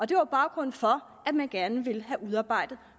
det var baggrunden for at man gerne ville have udarbejdet